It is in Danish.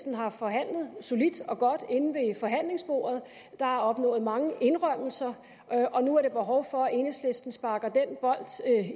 har forhandlet solidt og godt inde ved forhandlingsbordet der er opnået mange indrømmelser og nu er der behov for at enhedslisten sparker den bold